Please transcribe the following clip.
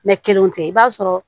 kelenw tɛ i b'a sɔrɔ